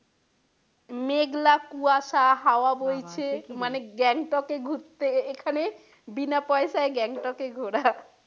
মেঘলা কুয়াশা হাওয়া বইছে মানে গ্যাংটকে ঘুরতে এখানে বিনা পয়সায় গ্যাংটকে ঘোরা।